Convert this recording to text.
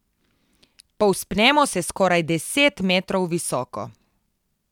Povzpnemo se skoraj deset metrov visoko.